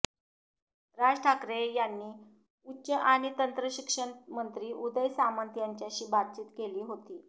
राज ठाकरे यांनी उच्च आणि तंत्रशिक्षण मंत्री उदय सामंत यांच्याशी बातचित केली होती